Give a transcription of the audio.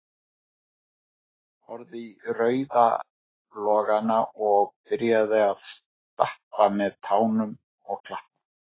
Horfði í rauða logana og byrjaði að stappa með tánum og klappa